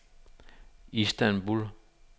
Istanbul